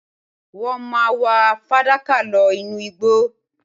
Wọ́n máa wá fàdákà lọ inú igbó